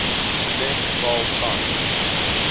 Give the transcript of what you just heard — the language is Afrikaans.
klem val tans